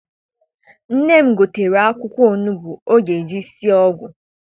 Nne m gotere akwụkwọ onugbu ọ ga eji sie ọgwụ.